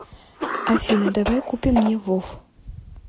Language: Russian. афина давай купим мне вов